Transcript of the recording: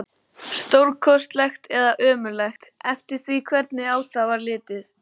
Stórkostlegt eða ömurlegt, eftir því hvernig á það var litið.